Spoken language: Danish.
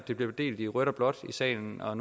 det bliver delt i rødt og blåt i salen og